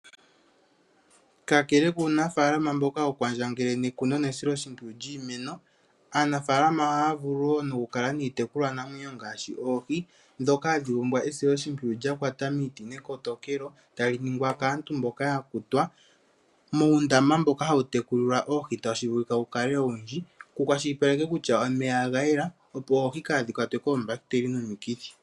Kakele kuunafaalama mboka hawu kwandjangele nekuno nesiloshimpwiyu lyiimeno, aanafaalama ohaya vulu wo okukala niitekulwanamwenyo ngaashi oohi ndhoka hadhi pumbwa esiloshimpwiyu lya kwata miiti nekotokelo tali ningwa kaantu mboka ya kutwa muundama mboka hawu tekulilwa oohi tashi vulika wukale owundji ku kwashilipalekwe kutya omeya oga yela opo oohi kaadhi kwatwe koombakiteli nomikithi.